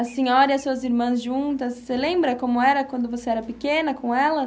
A senhora e as suas irmãs juntas, você lembra como era quando você era pequena com elas?